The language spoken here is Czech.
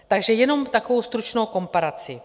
Takže jenom takovou stručnou komparaci.